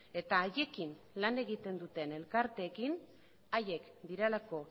eta haiekin lan egiten duten elkarteekin haiek direlako